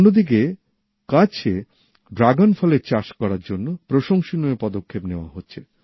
অন্যদিকে কচ্ছতে ড্রাগন ফলের চাষ করার জন্য প্রশংসনীয় পদক্ষেপ নেওয়া হচ্ছে